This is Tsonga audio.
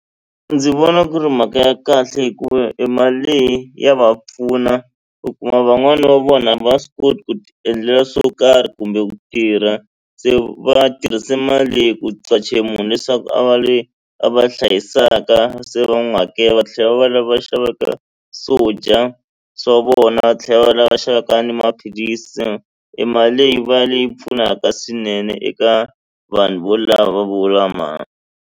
Ndzi vona ku ri mhaka ya kahle hikuva i mali leyi ya va pfuna u kuma van'wani va vona a va swi koti ku ti endlela swo karhi kumbe ku tirha se va tirrhise mali leyi ku qacha munhu leswaku a va le a va hlayisaka se va n'wi hakelela va tlhela va va lava xavaka swo dya swa vona va tlhela va lava xavaka ni maphilisi i mali leyi va leyi pfunaka swinene eka vanhu vo lava va vula .